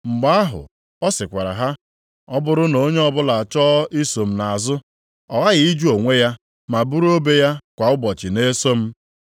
Mgbe ahụ ọ sịkwara ha, “Ọ bụrụ na onye ọbụla achọọ iso m nʼazụ, ọ ghaghị ịjụ onwe ya ma buru obe ya kwa ụbọchị na-eso m.